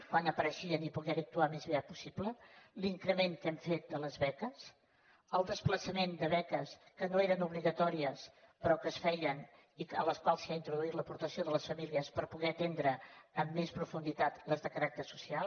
quan apareixien i poder hi actuar al més aviat possible l’increment que hem fet de les beques el desplaçament de beques que no eren obligatòries però que es feien i a les quals s’ha introduït l’aportació de les famílies per poder atendre amb més profunditat les de caràcter social